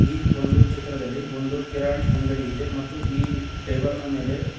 ಈ ಒಂದು ಚಿತ್ರದಲ್ಲಿ ಒಂದು ಕಿರಾಣಿ ಅಂಗಡಿ ಇದೆ ಮತ್ತು ಈ ಟೇಬಲ್ ನ ಮೇಲೆ--